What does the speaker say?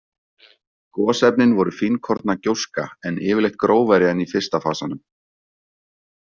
Gosefnin voru fínkorna gjóska, en yfirleitt grófari en í fyrsta fasanum.